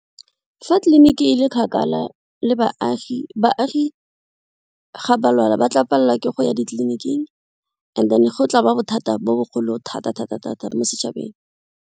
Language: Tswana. Fa tleliniki e le kgakala le baagi, baagi ga ba lwala ba tla palelwa ke go ya ditleliniking and then go tla ba bothata bo bogolong thata mo setšhabeng.